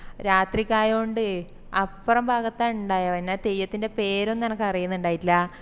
രാത്രിക്കയൊണ്ട് അപ്പറം ഭാഗത്താഇണ്ടാവുഅ പിന്ന തെയ്യത്തിൻറെ പേരൊന്നും എനക്ക് അറിയുന്നുണ്ടായിറ്റിലാ